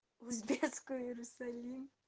узбекская иерусалим